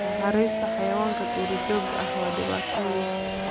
Naxariista xayawaanka duurjoogta ah waa dhibaato weyn.